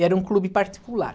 E era um clube particular.